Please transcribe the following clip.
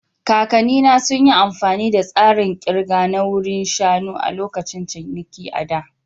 Kakannina sun yi amfani da tsarin ƙirga na wuri shanu a lokacin ciniki a da.